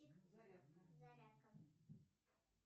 зарядка